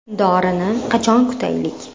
Dorini qachon kutaylik?